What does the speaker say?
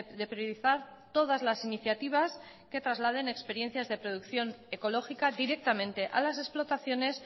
de priorizar todas las iniciativas que trasladen experiencias de producción ecológica directamente a las explotaciones